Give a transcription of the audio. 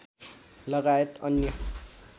लगायत अन्य